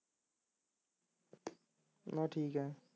ਹਾਂ ਠੀਕ ਐ